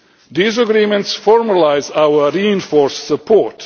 These agreements formalise our reinforced support.